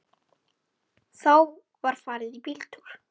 Þá var farið í bíltúr.